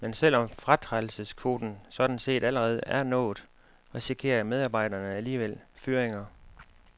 Men selv om fratrædelseskvoten sådan set allerede er nået, risikerer medarbejderne alligevel fyringer.